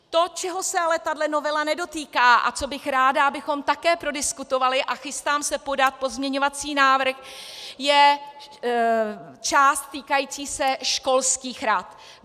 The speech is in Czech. To, čeho se ale tato novela nedotýká a co bych ráda, abychom také prodiskutovali, a chystám se podat pozměňovací návrh, je část týkající se školských rad.